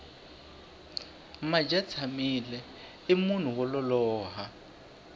madyatshamile i munhu wo lolowa